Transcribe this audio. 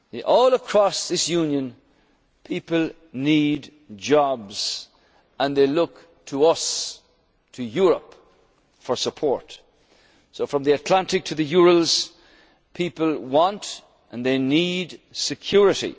achieve. All across this Union people need jobs and they look to us, to Europe, for support. From the Atlantic to the Urals, people want and they